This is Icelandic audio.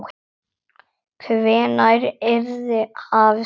Hvenær yrði hafist handa?